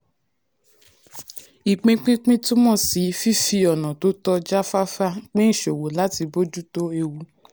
ìpínpínpín túmọ̀ sí um fífi ọ̀nà tó tó jáfáfá um pín ìṣòwò láti bójú um tó ewu.